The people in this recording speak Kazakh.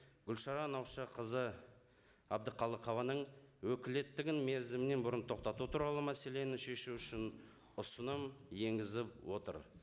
гүлшара наушақызы әбдіқалықованың өкілеттігін мерзімнен бұрын тоқтату туралы мәселені шешу үшін ұсыным енгізіп отыр